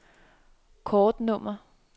kortnummer